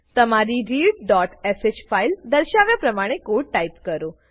તમારી readશ ફાઈલ દર્શાવ્યા પ્રમાણે કોડ ટાઈપ કરો